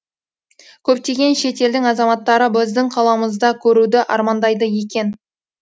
көптеген шет елдің азаматтары біздің қаламызды көруді армандайды екен